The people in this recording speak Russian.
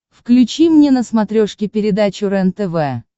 включи мне на смотрешке передачу рентв